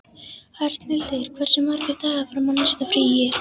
Arnhildur, hversu margir dagar fram að næsta fríi?